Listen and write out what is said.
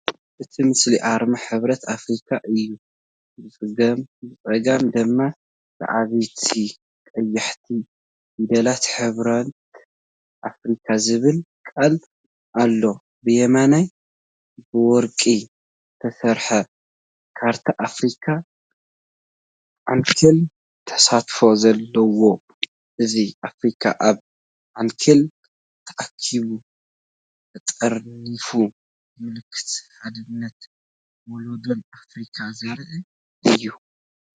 እቲ ምስሊ ኣርማ ሕብረት ኣፍሪካ እዩ። ብጸጋም ድማ ብዓበይቲ ቀያሕቲ ፊደላት "ሕብረት ኣፍሪቃ" ዝብል ቃል ኣሎ። ብየማን ብወርቂ ዝተሰርሐ ካርታ ኣፍሪካ፣ ዓንኬል ተሳትፎ ዘለዎ። እዚ ኣፍሪካ ኣብ ዓንኬል ተኣኪባ፣ ተጠርኒፋ፤ ምልክትሓድነትን ወለዶን ኣፍሪካ ዘርኢ እዩ።